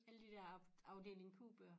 Alle de der Afdeling Q bøger